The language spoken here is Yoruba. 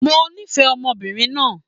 Mo nífẹ̀ẹ́ ọmọbìnrin náà